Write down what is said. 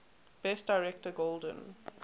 best director golden